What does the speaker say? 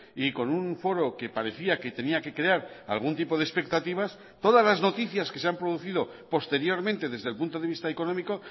y con un foro que parecía que tenía que crear algún tipo de expectativas todas las noticias que se han producido posteriormente desde el punto de vista económico